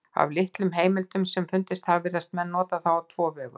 Af þeim litlu heimildum sem fundist hafa virðast menn nota það á tvo vegu.